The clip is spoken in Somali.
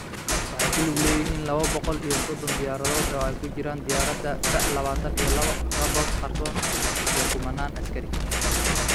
Waxay ku lug leeyihiin lawo boqol iyo sodhon diyaaradood oo ay ku jiraan diyaaradaha F-lawatan iyo lawo Raptor qarsoodi ah iyo kumanaan askari.